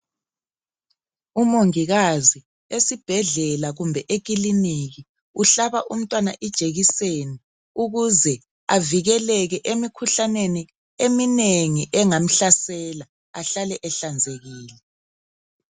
Umongikazi esibhedlela kumbe ekiliniki. Uhlaba umntwana ijekiseni ukuze avikeleke emikhuhlaneni eminengi engamhlasela. Ahlale ehlanzekile